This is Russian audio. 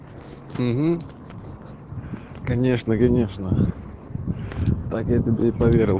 угу конечно конечно так я тебе и поверил